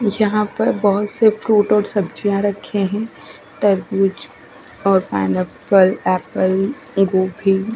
जहा पर बोहोत से फ्रूट और सब्जिया रखी है तरबूज और पाइनेपल एप्पल --